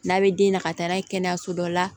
N'a bɛ den na ka taa n'a ye kɛnɛyaso dɔ la